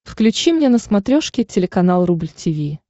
включи мне на смотрешке телеканал рубль ти ви